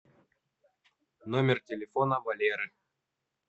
номер телефона валеры